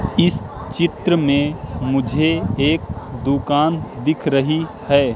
इस चित्र में मुझे एक दुकान दिख रही है।